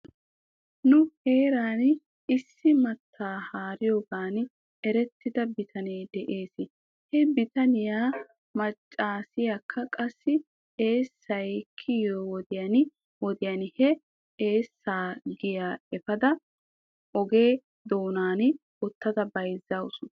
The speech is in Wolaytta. Nu heeran issi mattaa haariyoogan erettida bitanee dees. He bitaniyaa machchiyaakka qassi eessay kiyiyoo wodiyan wodiyan he eessaa giyaa efada oge doonnan uttada bayzzawus.